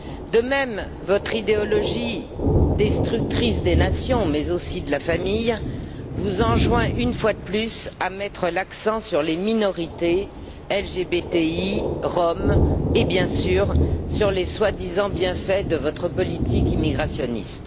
De même, votre idéologie destructrice des nations, mais aussi de la famille, vous enjoint, une fois de plus, de mettre l'accent sur les minorités LGBTI, Roms et, bien sûr, sur les prétendus bienfaits de votre politique immigrationniste.